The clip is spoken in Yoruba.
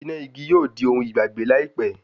Iná igi yóò di ohun ìgbàgbé láìpẹ́